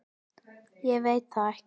Ég veit það ekki